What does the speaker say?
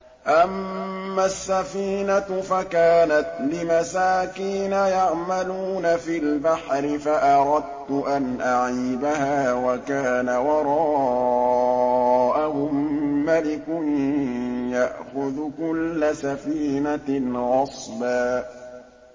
أَمَّا السَّفِينَةُ فَكَانَتْ لِمَسَاكِينَ يَعْمَلُونَ فِي الْبَحْرِ فَأَرَدتُّ أَنْ أَعِيبَهَا وَكَانَ وَرَاءَهُم مَّلِكٌ يَأْخُذُ كُلَّ سَفِينَةٍ غَصْبًا